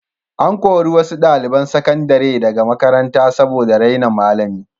An kori wasu ɗaliban sakandare daga makaranta saboda raina malami.